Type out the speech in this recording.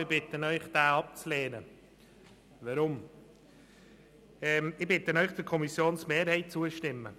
Ich bitte Sie, diesen abzulehnen und der Kommissionsmehrheit zu folgen.